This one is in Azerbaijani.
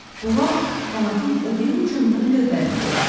Bu vaxt qanadın o biri ucunda lövbəri gördüm.